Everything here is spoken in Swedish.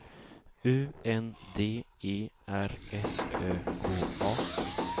U N D E R S Ö K A